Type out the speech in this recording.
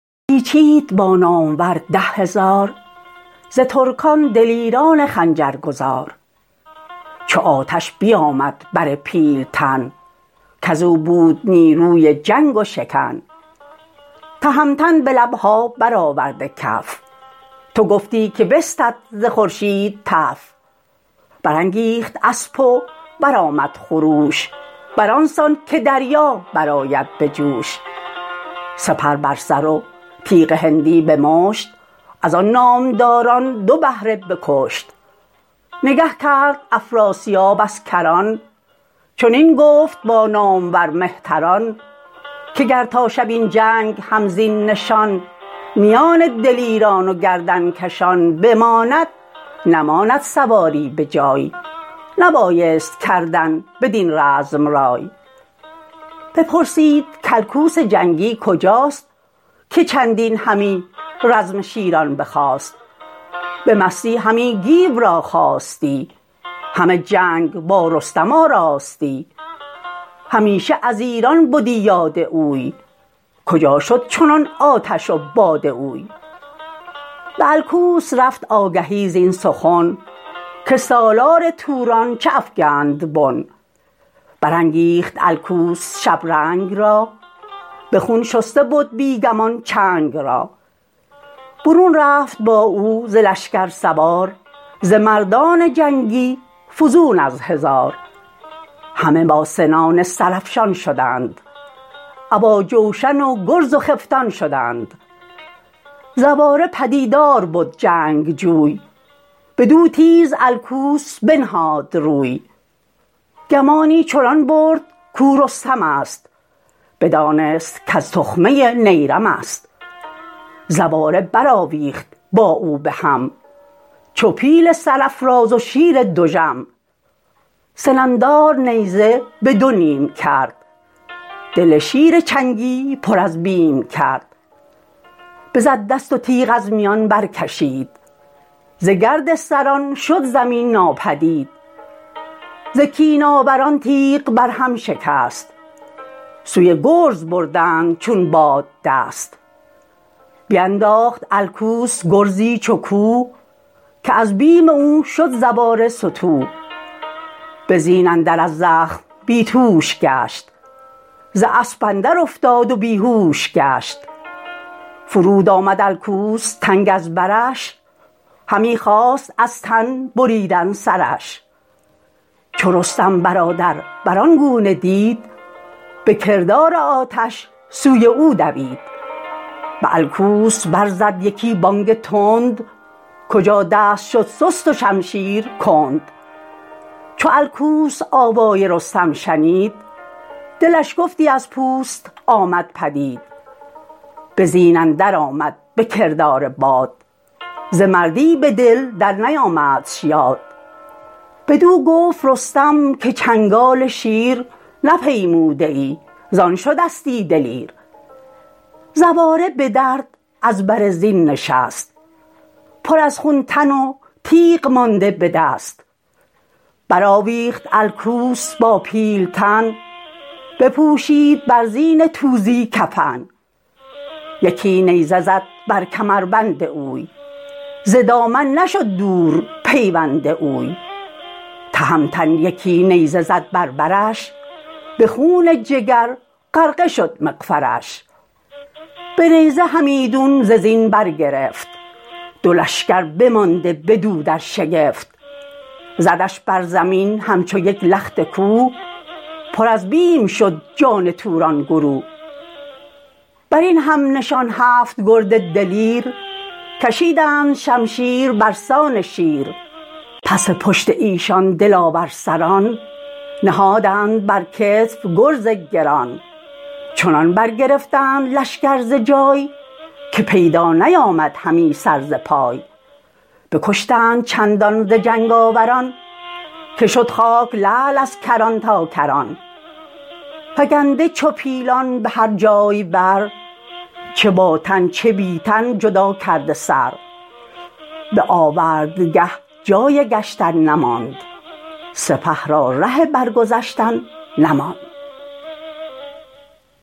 چنین گفت پس گیو با پهلوان که ای نازش شهریار و گوان شوم ره بگیرم به افراسیاب نمانم که آید بدین روی آب سر پل بگیرم بدان بدگمان بدارمش ازان سوی پل یک زمان بدان تا بپوشند گردان سلیح که بر ما سرآمد نشاط و مزیح بشد تازیان تا سر پل دمان به زه بر نهاده دو زاغ کمان چنین تا به نزدیکی پل رسید چو آمد درفش جفا پیشه دید که بگذشته بود او ازین روی آب به پیش سپاه اندر افراسیاب تهمتن بپوشید ببر بیان نشست از بر ژنده پیل ژیان چو در جوشن افراسیابش بدید تو گفتی که هوش از دلش بر پرید ز چنگ و بر و بازو و یال او به گردن برآورده گوپال او چو طوس و چو گودرز نیزه گذار چو گرگین و چون گیو گرد و سوار چو بهرام و چون زنگه شادروان چو فرهاد و برزین جنگ آوران چنین لشکری سرفرازان جنگ همه نیزه و تیغ هندی به چنگ همه یکسر از جای برخاستند بسان پلنگان بیاراستند بدان گونه شد گیو در کارزار چو شیری که گم کرده باشد شکار پس و پیش هر سو همی کوفت گرز دو تا کرد بسیار بالای برز رمیدند ازو رزمسازان چین بشد خیره سالار توران زمین ز رستم بترسید افراسیاب نکرد ایچ بر کینه جستن شتاب پس لشکر اندر همی راند گرم گوان را ز لشکر همی خواند نرم ز توران فراوان سران کشته شد سر بخت گردنکشان گشته شد ز پیران بپرسید افراسیاب که این دشت رزم ست گر جای خواب که در رزم جستن دلیران بدیم سگالش گرفتیم و شیران بدیم کنون دشت روباه بینم همی ز رزم آز کوتاه بینم همی ز مردان توران خنیده تویی جهان جوی و هم رزمدیده تویی سنان را به تندی یکی برگرای برو زود زیشان بپرداز جای چو پیروزگر باشی ایران تراست تن پیل و چنگال شیران تراست چو پیران ز افراسیاب این شنید چو از باد آتش دلش بردمید بسیچید با نامور ده هزار ز ترکان دلیران خنجرگذار چو آتش بیامد بر پیلتن کزو بود نیروی جنگ و شکن تهمتن به لبها برآورده کف تو گفتی که بستد ز خورشید تف برانگیخت اسپ و برآمد خروش بران سان که دریا برآید بجوش سپر بر سر و تیغ هندی به مشت ازان نامداران دو بهره بکشت نگه کرد افراسیاب از کران چنین گفت با نامور مهتران که گر تا شب این جنگ هم زین نشان میان دلیران و گردنکشان بماند نماند سواری به جای نبایست کردن بدین رزم رای بپرسید کالکوس جنگی کجاست که چندین همی رزم شیران بخواست به مستی همی گیو را خواستی همه جنگ با رستم آراستی همیشه از ایران بدی یاد اوی کجا شد چنان آتش و باد اوی به الکوس رفت آگهی زین سخن که سالار توران چه افگند بن برانگیخت الکوس شبرنگ را به خون شسته بد بی گمان چنگ را برون رفت با او ز لشکر سوار ز مردان جنگی فزون از هزار همه با سنان سرافشان شدند ابا جوشن و گرز و خفتان شدند زواره پدیدار بد جنگجوی بدو تیز الکوس بنهاد روی گمانی چنان برد کو رستم ست بدانست کز تخمه نیرم ست زواره برآویخت با او به هم چو پیل سرافراز و شیر دژم سناندار نیزه به دو نیم کرد دل شیر چنگی پر از بیم کرد بزد دست و تیغ از میان برکشید ز گرد سران شد زمین ناپدید ز کین آوران تیغ بر هم شکست سوی گرز بردند چون باد دست بینداخت الکوس گرزی چو کوه که از بیم او شد زواره ستوه به زین اندر از زخم بی توش گشت ز اسپ اندر افتاد و بیهوش گشت فرود آمد الکوس تنگ از برش همی خواست از تن بریدن سرش چو رستم برادر بران گونه دید به کردار آتش سوی او دوید به الکوس بر زد یکی بانگ تند کجا دست شد سست و شمشیر کند چو الکوس آوای رستم شنید دلش گفتی از پوست آمد پدید به زین اندر آمد به کردار باد ز مردی بدل در نیامدش یاد بدو گفت رستم که چنگال شیر نپیموده ای زان شدستی دلیر زواره به درد از بر زین نشست پر از خون تن و تیغ مانده به دست برآویخت الکوس با پیلتن بپوشید بر زین توزی کفن یکی نیزه زد بر کمربند اوی ز دامن نشد دور پیوند اوی تهمتن یکی نیزه زد بر برش به خون جگر غرقه شد مغفرش به نیزه همیدون ز زین برگرفت دو لشکر بمانده بدو در شگفت زدش بر زمین همچو یک لخت کوه پر از بیم شد جان توران گروه برین همنشان هفت گرد دلیر کشیدند شمشیر برسان شیر پس پشت ایشان دلاور سران نهادند بر کتف گرز گران چنان برگرفتند لشکر ز جای که پیدا نیامد همی سر ز پای بکشتند چندان ز جنگ آوران که شد خاک لعل از کران تا کران فگنده چو پیلان به هر جای بر چه با تن چه بی تن جدا کرده سر به آوردگه جای گشتن نماند سپه را ره برگذشتن نماند